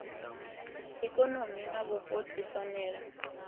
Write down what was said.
ikonomi na vhupo dzi fanela